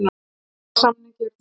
Drög að samningi eru tilbúin.